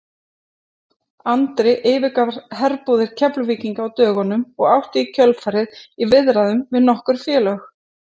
Andri yfirgaf herbúðir Keflvíkinga á dögunum og átti í kjölfarið í viðræðum við nokkur félög.